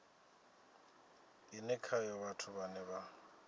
ine khayo vhathu vhane vha